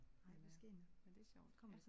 Men øh men det er sjovt ja